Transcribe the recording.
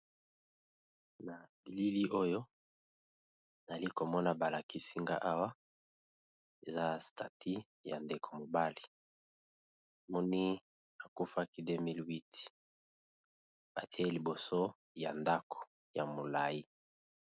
na bilili oyo nali komona balakisinga awa za stati ya ndeko mobali moni akufaki 2008 batie liboso ya ndako ya mulai